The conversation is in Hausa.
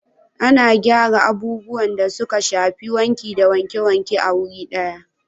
Ana gyara abubuwan da suka shafi wanki da wanke-wanke a wuri daya